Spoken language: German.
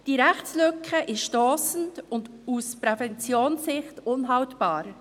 Diese Rechtslücke ist stossend und aus Sicht der Prävention unhaltbar.